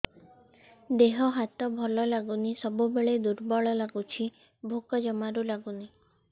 ଦେହ ହାତ ଭଲ ଲାଗୁନି ସବୁବେଳେ ଦୁର୍ବଳ ଲାଗୁଛି ଭୋକ ଜମାରୁ ଲାଗୁନି